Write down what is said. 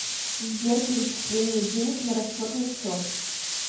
сбер перечисление денег на расчетный счет